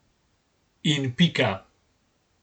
In pika.